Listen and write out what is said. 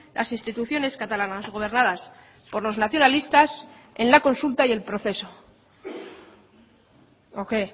las instituciones catalanas gobernadas por los nacionalistas en la consulta y el proceso o qué